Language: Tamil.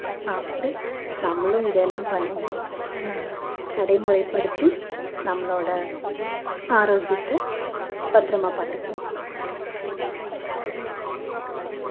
சாப்பிட்டு நம்மளும் இதெல்லாம் பய~ அஹ் நடைமுறைப்படுத்தி நம்மளோட ஆரோக்கியத்த பத்திரமா பாத்துக்குவோம்